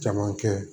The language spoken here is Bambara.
Caman kɛ